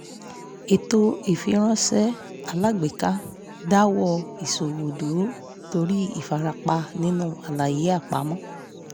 ètò ìfiránṣẹ́ alágbèéká dáwọ̀ ìṣòwò dúró torí ìfarapa nínú àlàyé àpamọ́